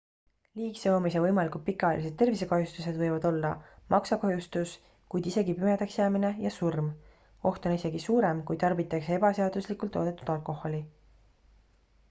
liigse joomise võimalikud pikaajalised tervisekahjustused võivad olla maksakahjustus kuid isegi pimedaks jäämine ja surm oht on isegi suurem kui tarbitakse ebaseaduslikult toodetud alkoholi